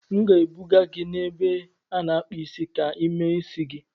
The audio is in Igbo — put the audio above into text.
M ga-ebuga gị n'ebe a na-akpa isi ka ị mee isi gị.